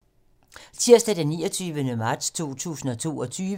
Tirsdag d. 29. marts 2022